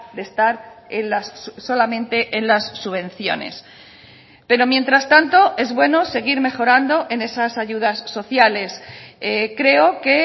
de estar solamente en las subvenciones pero mientras tanto es bueno seguir mejorando en esas ayudas sociales creo que